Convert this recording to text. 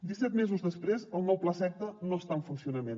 disset mesos després el nou plaseqta no està en funcionament